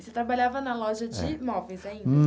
E você trabalhava na loja de móveis ainda?